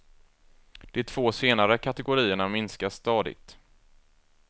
De två senare kategorierna minskar stadigt.